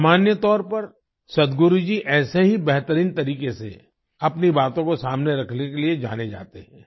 सामान्य तौर पर सद्गुरु जी ऐसे ही बेहतरीन तरीके से अपनी बातों को सामने रखने के लिए जाने जाते हैं